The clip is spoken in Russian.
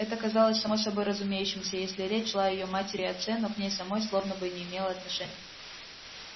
это казалось само собой разумеющимся если речь шла о её матери и отце но к ней самой словно бы не имело отношения